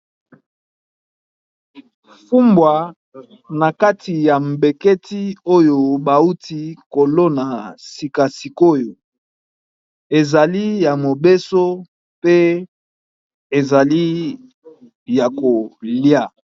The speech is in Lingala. Fumbwa na kati ya cantine oyo bauti kobuka, sika sikoyo ezali ya mobesu pe ezali ya kolia.